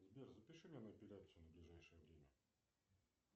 сбер запиши меня на эпиляцию на ближайшее время